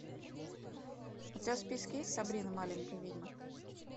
у тебя в списке есть сабрина маленькая ведьма